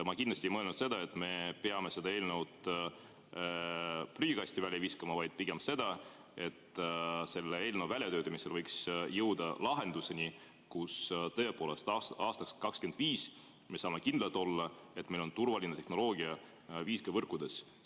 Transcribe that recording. Ma kindlasti ei mõelnud seda, et me peame selle eelnõu prügikasti viskama, vaid pigem seda, et selle eelnõu väljatöötamisel võiks jõuda lahenduseni, mille puhul me tõepoolest aastaks 2025 saame kindlad olla, et meil on turvaline tehnoloogia 5G‑võrkudes.